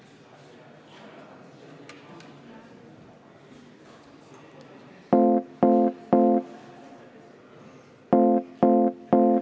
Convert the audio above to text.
Austatud Riigikogu, nüüd juhataja vaheaeg 15 minutit, kuni kella 15.50-ni.